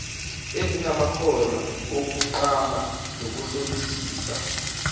ezinamakhono okuqamba nokuhlolisisa